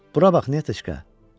Bura bax, Netyeşka!